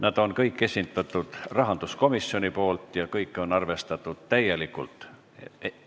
Need kõik on esitanud rahanduskomisjon ja kõiki on arvestatud täielikult.